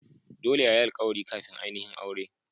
Dolle a yi alkawari kafin ainihin aure.